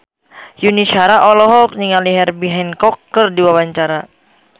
Yuni Shara olohok ningali Herbie Hancock keur diwawancara